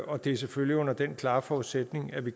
og det er selvfølgelig under den klare forudsætning at vi